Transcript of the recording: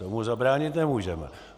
Tomu zabránit nemůžeme.